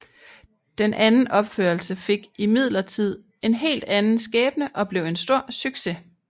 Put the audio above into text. Den anden opførelse fik imidlertid en helt anden skæbne og blev en stor succes